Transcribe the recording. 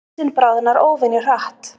Ísinn bráðnar óvenju hratt